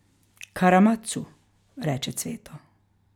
Karamatsu, reče Cveto.